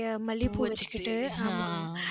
நிறைய மல்லிப்பூ வச்சிக்கிட்டு